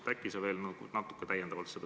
Äkki sa veel natuke selgitad seda.